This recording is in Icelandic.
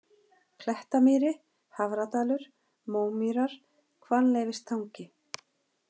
Klettamýri, Hafradalur, Mómýrar, Hvannleifstangi